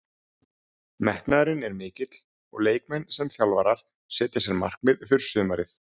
Metnaðurinn er mikill og leikmenn sem þjálfarar setja sér markmið fyrir sumarið.